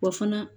Wa fana